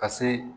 Ka se